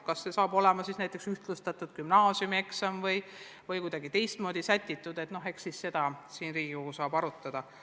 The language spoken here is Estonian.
Kas see saab olema ühtlustatud gümnaasiumieksam või kuidagi teistmoodi korraldatud, seda saab ka siin Riigikogus arutada.